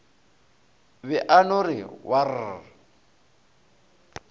be a no re waar